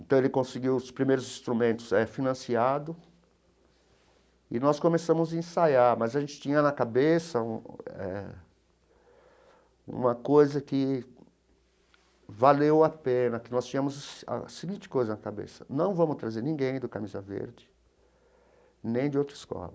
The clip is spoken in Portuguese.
Então, ele conseguiu os primeiros instrumentos financiados e nós começamos a ensaiar, mas a gente tinha na cabeça um eh uma coisa que valeu a pena, que nós tínhamos a seguinte coisa na cabeça, não vamos trazer ninguém do Camisa Verde, nem de outra escola.